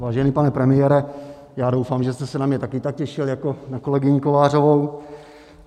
Vážený pane premiére, já doufám, že jste se na mě také tak těšil jako na kolegyni Kovářovou.